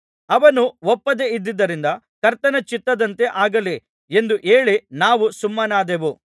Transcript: ಅವನು ಒಪ್ಪದೆ ಇದ್ದುದರಿಂದ ಕರ್ತನ ಚಿತ್ತದಂತೆ ಆಗಲಿ ಎಂದು ಹೇಳಿ ನಾವು ಸುಮ್ಮನಾದೆವು